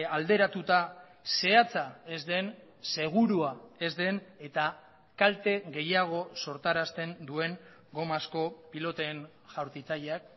alderatuta zehatza ez den segurua ez den eta kalte gehiago sortarazten duen gomazko piloten jaurtitzaileak